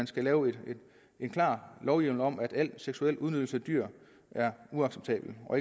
skal lave en klar lovhjemmel om at al seksuel udnyttelse af dyr er uacceptabel og